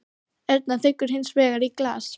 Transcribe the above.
Erna þiggur hins vegar í glas.